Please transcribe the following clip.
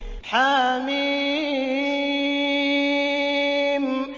حم